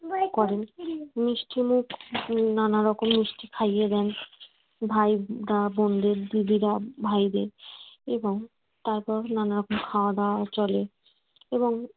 করেন মিষ্টিমুখ নানা রকম মিষ্টি খাইয়ে দেন ভাই বোনদের দিদিরা ভাইদের এবং তারপর নানা রকম খাওয়া দাওয়াও চলে এবং